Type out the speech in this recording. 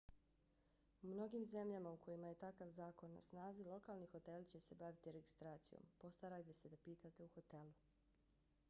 u mnogim zemljama u kojima je takav zakon na snazi lokalni hoteli će se baviti registracijom postarajte se da pitate u hotelu